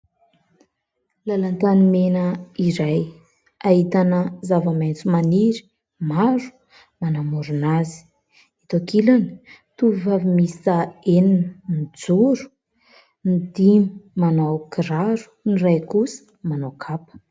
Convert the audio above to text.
Làlan-tanimena iray, ahitana zava-maitso maniry maro manamorona azy. Eto an-kilany, tovovavy miisa enina mijoro, ny dimy manao kiraro, ny iray kosa manao kapa.